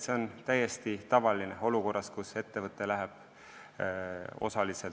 See on täiesti tavaline olukorras, kus ettevõte läheb börsile.